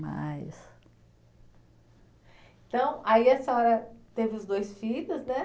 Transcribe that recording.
Mas. Então, aí a senhora teve os dois filhos, né?